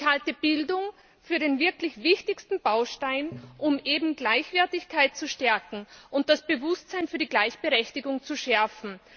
Ich halte Bildung für den wirklich wichtigsten Baustein, um eben Gleichwertigkeit zu stärken und das Bewusstsein für die Gleichberechtigung zu schärfen.